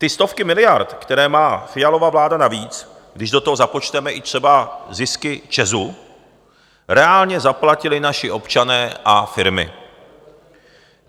Ty stovky miliard, které má Fialova vláda navíc, když do toho započteme i třeba zisky ČEZu, reálně zaplatili naši občané a firmy.